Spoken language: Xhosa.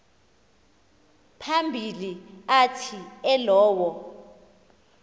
phambili athi elowo